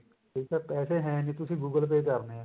ਠੀਕ ਐ ਪੈਸੇ ਹੈ ਨੀ ਤੁਸੀਂ google pay ਕਰਨੇ ਐ